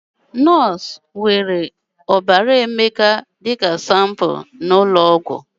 Nọọsụ na jee Emeka ọbara sanpu n'ụlọ ọgwụ